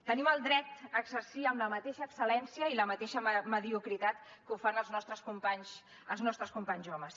tenim el dret a exercir amb la mateixa excel·lència i la mateixa mediocritat que ho fan els nostres companys els nostres companys homes